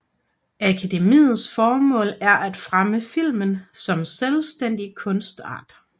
Akademiets formål er at fremme filmen som selvstændig kunstart